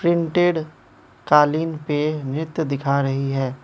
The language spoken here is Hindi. कालीन पे नृत्य दिखा रही है।